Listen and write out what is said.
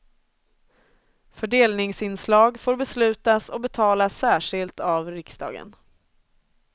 Fördelningsinslag får beslutas och betalas särskilt av riksdagen.